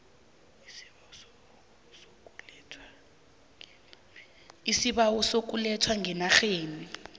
isibawo sokulethwa ngenarheni